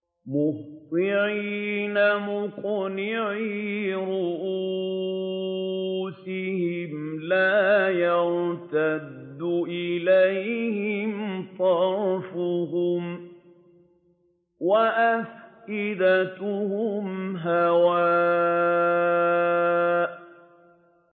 مُهْطِعِينَ مُقْنِعِي رُءُوسِهِمْ لَا يَرْتَدُّ إِلَيْهِمْ طَرْفُهُمْ ۖ وَأَفْئِدَتُهُمْ هَوَاءٌ